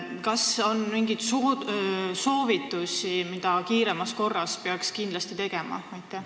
Kas teil on mingeid soovitusi, mida peaks kiiremas korras kindlasti tegema?